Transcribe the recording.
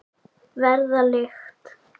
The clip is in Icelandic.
Verða lykt.